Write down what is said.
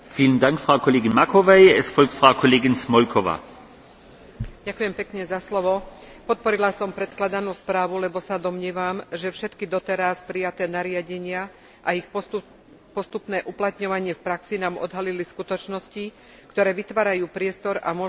Podporila som predkladanú správu, lebo sa domnievam, že všetky doteraz prijaté nariadenia a ich postupné uplatňovanie v praxi nám odhalili skutočnosti, ktoré vytvárajú priestor a možnosti na osobitné opatrenia v oblasti poľnohospodárstva v prospech menších ostrovov v Egejskom mori.